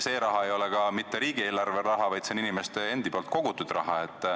See raha ei ole ka mitte riigieelarve raha, see on inimeste endi kogutud raha.